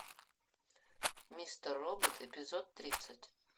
мистер робот эпизод тридцать